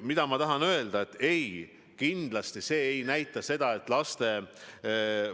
Aga ma tahan öelda, et kindlasti me ei kavanda seda, et laste